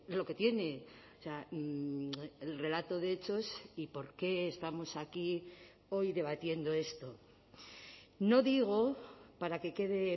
lo que tiene el relato de hechos y por qué estamos aquí hoy debatiendo esto no digo para que quede